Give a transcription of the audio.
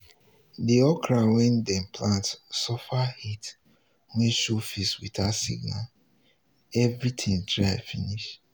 the okra wey dem plant suffer heat wey show face without signal everything dry finish.